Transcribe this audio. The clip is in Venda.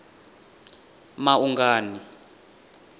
maungani